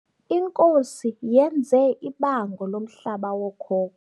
Inkosi yenze ibango lomhlaba wookhoko.